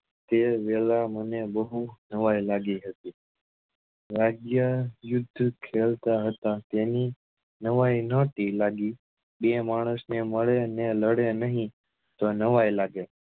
તે વેલા મને બહુ નવાઈ લાગી હતી વાગ્યા યુદ્ધ ખેલતા હતા તેની નવાઈ નથી લાગી બે માણસ ની મળે અને લડે નહી તો નવાઈ લાગે